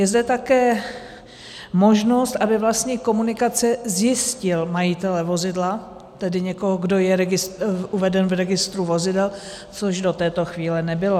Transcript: Je zde také možnost, aby vlastník komunikace zjistil majitele vozidla, tedy někoho, kdo je uveden v registru vozidel, což do této chvíle nebylo.